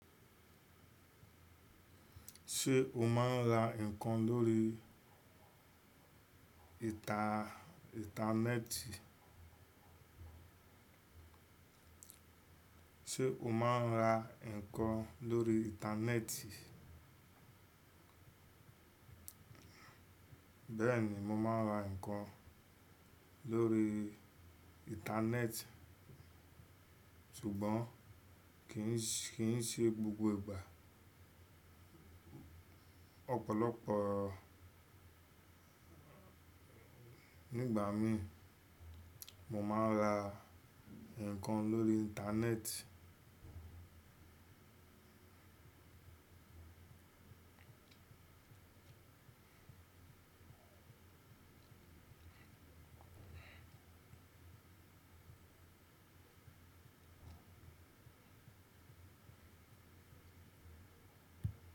Ṣé o máa ń ra nǹkan lórí ìntanẹ́ẹ̀tì? Ṣé o máa ń ra nǹkan lórí ìntanẹ́ẹ̀tì? Bẹ́ẹ̀ni, mo máa ń ra nǹkan lórí ìntanẹ́ẹ̀tì, ṣùgbọ́n kì ń ṣe gbogbo ìgbà. Ọ̀pọ̀lọpọ̀ nígbà míì, mo máa ń ra nǹkan lórí Íntanẹ́ẹ̀tì.